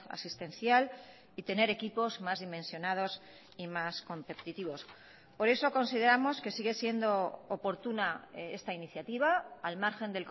asistencial y tener equipos más dimensionados y más competitivos por eso consideramos que sigue siendo oportuna esta iniciativa al margen